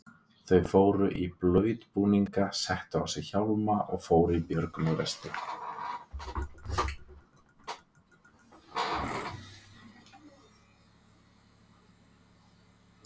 Þau fóru í blautbúninga, settu á sig hjálma og fóru í björgunarvesti.